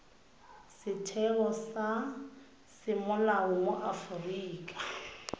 setheo sa semolao mo aforika